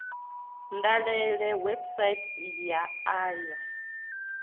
dalele website ya a ya